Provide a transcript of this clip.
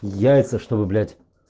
яйца чтобы блять